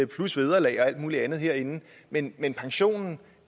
plus vederlag og alt muligt andet herinde men men pensionen